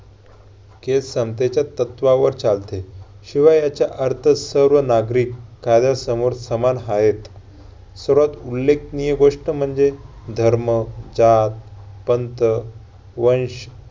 तत्वावर चालते. शिवाय याचा अर्थ सर्व नागरिक कायद्यासमोर समान आहेत. सर्वात उल्लेखनीय गोष्ट म्हणजे धर्म, जात, पंथ, वंश